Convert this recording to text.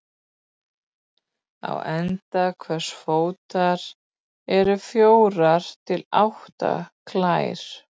Á enda hvers fótar eru fjórar til átta klær.